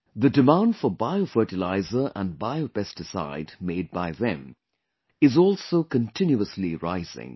The demand for bio fertilizer and bio pesticide made by them is also continuously rising